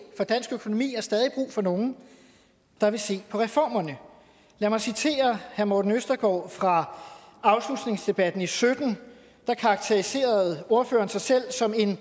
for dansk økonomi har stadig brug for nogle der vil se på reformerne lad mig citere herre morten østergaard fra afslutningsdebatten i sytten der karakteriserede ordføreren sig selv som en